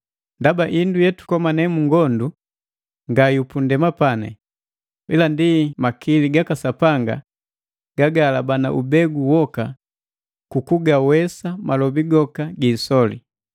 Ndaba indu yetukomane mungondu nga yupundema, ila ndi makili gaka Sapanga gagahalabana ubegu woka tugawesa malobi goka giisoli,